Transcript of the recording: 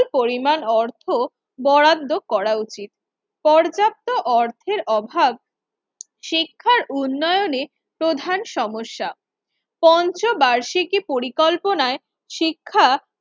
পরিমাণ অর্থ বরাদ্দ করা উচিত। পর্যাপ্ত অর্থের অভাব শিক্ষার উন্নয়নের প্রধান সমস্যা, পঞ্চবার্ষিকী পরিকল্পনার শিক্ষা